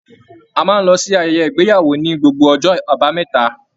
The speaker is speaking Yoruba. A máa n lọ sí ayẹyẹ ìgbéyàwó ní gbogbo ọjọ́ àbámẹ́ta.